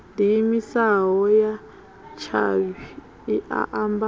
diimisaho ya tshavhi i ambaho